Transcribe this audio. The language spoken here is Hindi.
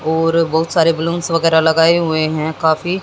और बहुत सारे बलूंस वगैरह लगाए हुए हैं काफी--